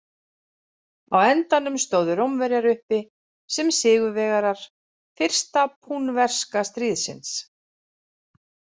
Á endanum stóðu Rómverjar uppi sem sigurvegarar fyrsta púnverska stríðsins.